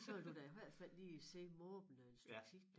Så ville du da i hvert fald lige sidde måbende et stykke tid